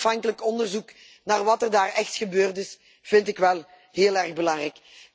Dat onafhankelijk onderzoek naar wat er daar echt gebeurd is, vind ik wel heel erg belangrijk.